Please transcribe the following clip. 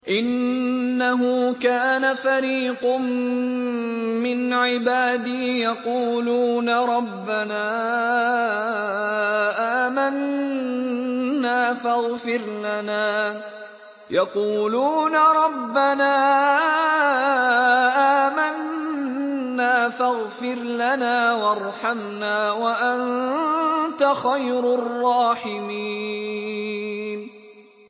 إِنَّهُ كَانَ فَرِيقٌ مِّنْ عِبَادِي يَقُولُونَ رَبَّنَا آمَنَّا فَاغْفِرْ لَنَا وَارْحَمْنَا وَأَنتَ خَيْرُ الرَّاحِمِينَ